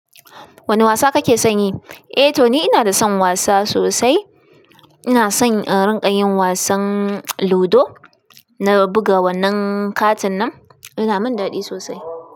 Wane wasa kake son yi? Eh to ni ina da son wasa sosai. Ina son in rinƙayin wasan ludo na buga wannan katin nan, yana min daɗi sosai.